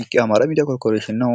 ይህ የአማራ ሚዲያ ኮርፖሬሽን ነው።